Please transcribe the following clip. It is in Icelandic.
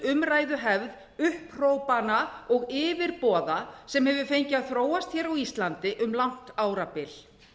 umræðuhefð upphrópana og yfirboða sem hefur fengið að þróast á íslandi um langt árabil